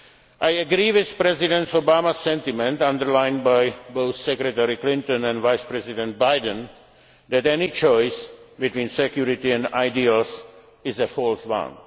do together here. I agree with President Obama's sentiment, underlined by both Secretary Clinton and Vice President Biden, that any choice between security and ideals